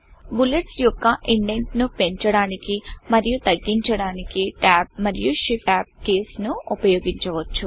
bullets యొక్క indent ను పెంచడానికి మరియు తగ్గించడానికి Tabట్యాబ్ మరియు shift tab keysషిఫ్ట్ ట్యాబ్ కీస్ ను ఉపయోగించవచ్చు